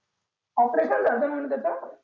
operation झालं होतं म्हणं त्याच